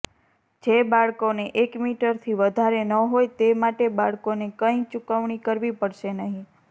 જે બાળકોને એક મીટરથી વધારે ન હોય તે માટે બાળકોને કંઈ ચૂકવણી કરવી પડશે નહીં